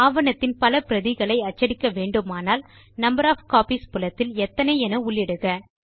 ஆவணத்தின் பல பிரதிகளை அச்சடிக்க வேண்டுமானால் நம்பர் ஒஃப் காப்பீஸ் புலத்தில் எத்தனை என உள்ளிடுக